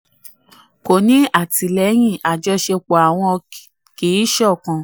kò ní àtìlẹ́yìn um àjọṣepọ̀ àwọn kì um í ṣọkan.